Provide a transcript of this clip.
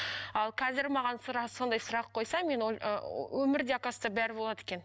ал қазір маған сондай сұрақ қойса мен өмірде оказывается бәрі болады екен